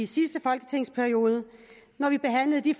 sidste folketingsperiode når vi behandlede de